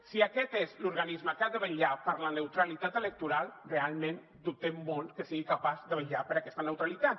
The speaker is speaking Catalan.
si aquest és l’organisme que ha de vetllar per la neutralitat electoral realment dubtem molt que sigui capaç de vetllar per aquesta neutralitat